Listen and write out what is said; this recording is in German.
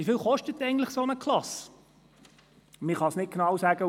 Wieviel kostet eigentlich eine solche Klasse?